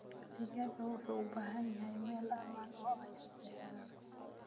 Digaagga waxay u baahan yihiin meel ammaan ah oo ay seexdaan.